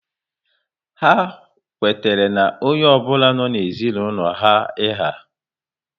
Ha kwetara na onye ọ bụla nọ n'ezinaulo ha iha